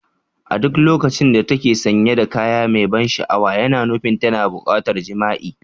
A duk lokacin da ta ke sanye da kaya mai ban sha'awa, yana nufin tana buƙatar jima'i.